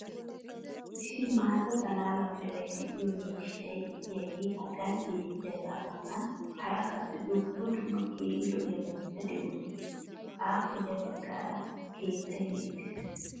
issi maata xalaala mala meray de'iyo miishshay diyaagee hagan beetiyaagaa matan hara qassi dumma dumma keehi lo'iyaabatikka de'oosona. appe ya bagaara keettay beettees.